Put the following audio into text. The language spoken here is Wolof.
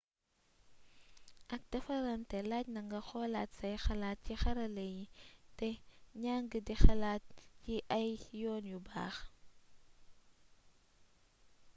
ak défaranté laajna nga xolaat say xalaat ci xarala yi té njang di xalaat ci ay yoon yu baax